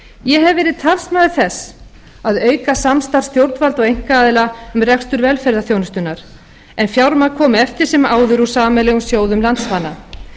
hef verið talsmaður þess að auka samstarf stjórnvalda og einkaaðila um rekstur velferðarþjónustunnar en fjármagn komi eftir sem áður úr sameiginlegum sjóðum landsmanna